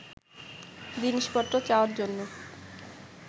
জিনিসপত্র চাওয়ার জন্য